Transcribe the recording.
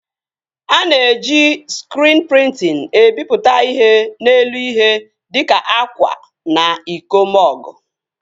A na-eji skriin prịntịn ebipụta ihe n'elu ihe dịka akwa na iko mọgụ